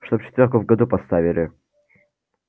чтобы четвёрку в году поставили